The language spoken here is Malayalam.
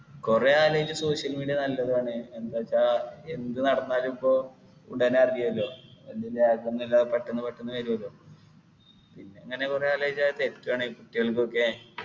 കൊറേ ആലോചിച്ച് social media നല്ലതുആണ് എന്താച്ച എന്ത് നടന്നാലും ഇപ്പൊ ഉടനെ അറിയല്ലോ എന്തിൻ്റെ എല്ലാം പെട്ടന്ന് പെട്ടന്ന് വരുഅല്ലോ പിന്നെങ്ങനെ കൊറേ ആലോയിച്ചാ അത് തെറ്റു ആണ് ചിലതൊക്കെ